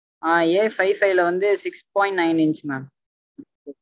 அஹ் Afive five ல வந்து six point nine inch mam